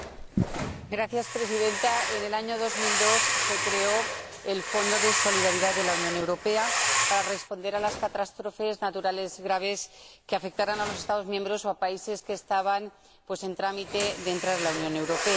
Señora Presidenta, en el año 2002 se creó el Fondo de Solidaridad de la Unión Europea para responder a las catástrofes naturales graves que afectaran a los Estados miembros o a países que estaban en camino de entrar en la Unión Europea.